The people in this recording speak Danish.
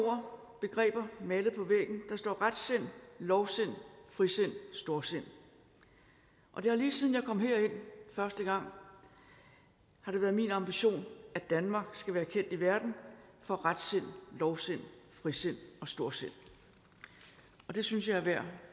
ord begreber malet på væggen der står retsind lovsind frisind storsind det har lige siden jeg kom herind første gang været min ambition at danmark skal være kendt i verden for retsind lovsind frisind og storsind det synes jeg er værd